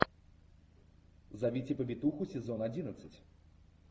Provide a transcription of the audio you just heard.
зовите повитуху сезон одиннадцать